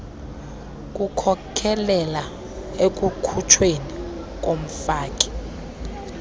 kukhokelela ekukhutshweni komfaki